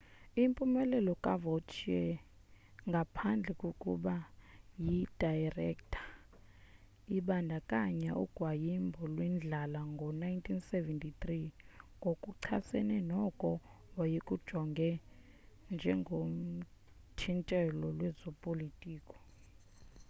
impumelelo kavautier ngaphandle kokuba yi dayirektha ibandakanya ugwayimbo lwendlala ngo-1973 ngokuchasene noko wayekujonga njengothintelo lwezopolitiko